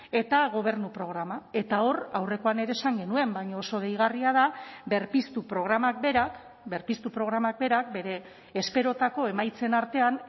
eta gobernu programa eta hor aurrekoan ere esan genuen baina oso deigarria da berpiztu programak berak berpiztu programak berak bere esperotako emaitzen artean